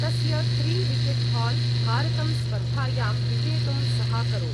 तस्य त्री wicket haul भारतं स्पर्धायां विजेतुं सहाकरोत्।